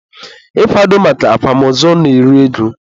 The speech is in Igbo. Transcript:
ịkwado maka akwamozu na-eri ego.